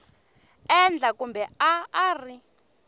endla kumbe a a ri